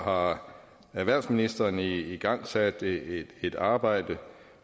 har erhvervsministeren igangsat et arbejde